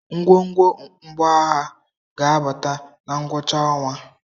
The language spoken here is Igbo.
Ngwongwo mgbọagha ga-abata na ngwụcha ọnwa.